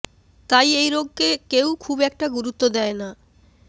তাই এই রোগকে কেউ খুব একটা গুরুত্ব দেয় না